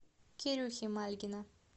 кирюхи мальгина